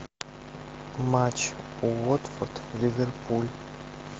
матч уотфорд ливерпуль